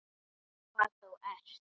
Hvað þú ert.